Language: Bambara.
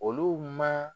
Olu ma